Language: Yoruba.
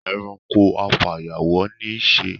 E̩ranko afàyàwó̩ ní í s̩e.